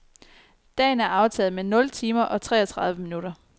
Dagen er aftaget med nul timer og treogtredive minutter.